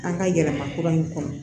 An ka yɛlɛma kura in kɔnɔ